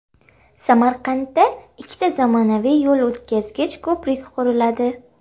Samarqandda ikkita zamonaviy yo‘l o‘tkazgich ko‘prik quriladi.